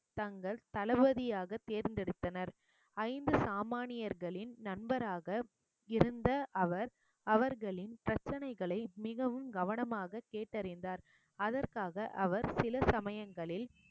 தங்கள் தளபதியாக தேர்ந்தெடுத்தனர் ஐந்து சாமானியர்களின் நண்பராக இருந்த அவர் அவர்களின் பிரச்சனைகளை மிகவும் கவனமாக கேட்டறிந்தார் அதற்காக அவர் சில சமயங்களில்